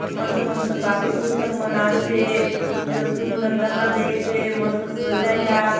मस्त-मस्त काफी पुस्तक मन आसे कितलो सुंदर दखा देयसे मस्त सजाय ला आत।